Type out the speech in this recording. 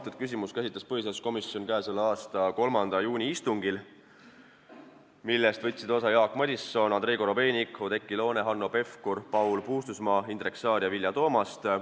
Seda küsimust käsitles põhiseaduskomisjon k.a 3. juuni istungil, millest võtsid osa Jaak Madison, Andrei Korobeinik, Oudekki Loone, Hanno Pevkur, Paul Puustusmaa, Indrek Saar ja Vilja Toomast.